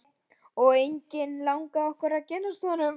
Og eiginlega langaði okkur ekki að kynnast honum.